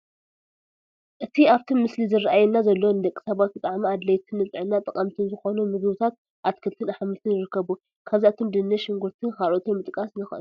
እቲ ኣብቲ ምስሊ ዝራኣየና ዘሎ ንደቂ ሰባት ብጣዕሚ ኣድለይትን ንጥዕና ጠቐምትን ዝኾኑ ምግብታት ኣትክልትን ኣሕምልትን ይርከቡ፡፡ ካብዚኣቶም ድንሽ፣ ሽጉርትን ካልኦትን ምጥቃስ ንኽእል፡፡